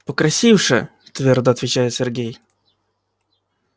покрасивше твёрдо отвечает сергей